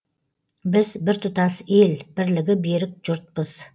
біз біртұтас ел бірлігі берік жұртпыз